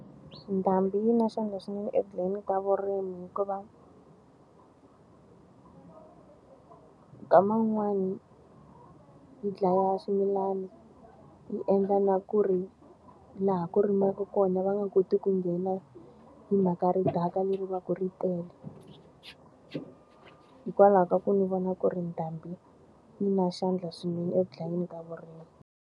Ndhambi yi na xandla swinene eku dlayeni ka vurimi hikuva nkama wun'wani yi dlaya swimilana, yi endla na ku ri laha ku rimiwaka kona va nga koti ku nghena hi mhaka ridaka leri va ku ri tele. Hikwalaho ka ku ndzi vona ku ri ndhambi yi na xandla swinene eku dlayeni ka vurimi.